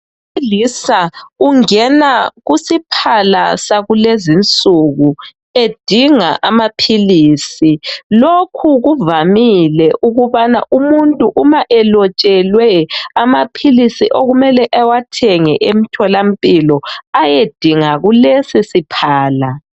Owesilisa ungena kusiphala sakulezi insuku edinga amaphilisi. Lokhu kuvamile ukubana umuntu uma elotshelwe amaphilisi okumele ewathenge emtholampilo, ayedinga kulesi siphala.